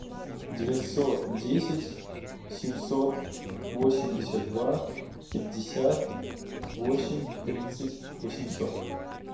девятьсот десять семьсот восемьдесят два пятьдесят восемь тридцать восемьсот